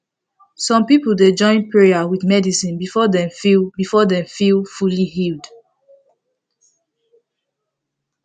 some people dey join prayer with medicine before dem feel before dem feel fully healed